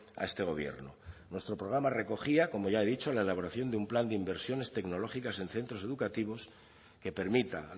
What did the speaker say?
a este gobierno nuestro programa recogía como ya he dicho la elaboración de un plan de inversiones tecnológicas en centros educativos que permita